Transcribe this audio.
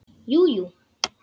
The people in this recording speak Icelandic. Jú, jú.